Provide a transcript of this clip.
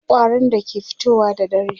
akwai ƙwarin da ke fitowa da dare